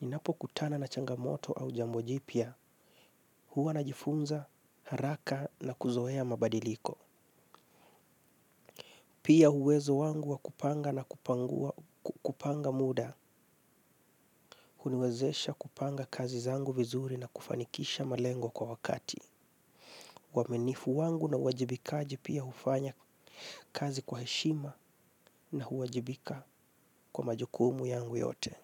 ninapo kutana na changamoto au jambojipia, huwa na jifunza haraka na kuzoea mabadiliko. Pia huwezo wangu wakupanga na kupanga muda, uniwezesha kupanga kazi zangu vizuri na kufanikisha malengo kwa wakati. Waminifu wangu na huajibikaji pia hufanya kazi kwa heshima na huajibika kwa majukumu yangu yote.